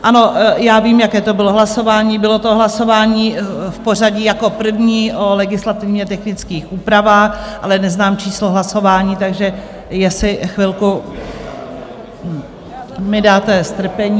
Ano, já vím, jaké to bylo hlasování, bylo to hlasování v pořadí jako první o legislativně technických úpravách, ale neznám číslo hlasování, takže jestli chvilku mi dáte strpení...